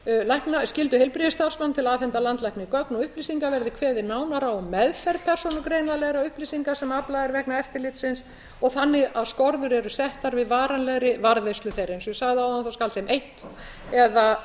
um skyldu heilbrigðisstarfsmanna til að afhenda landlækni gögn og upplýsingar verði kveðið nánar á um meðferð persónugreinanlegra upplýsinga sem aflað er vegna eftirlitsins og þannig að skorður eru settar við varanlegri varðveislu þeirra eins og ég sagði áðan skal þeim eytt